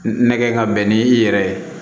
Nɛgɛ ka bɛn ni i yɛrɛ ye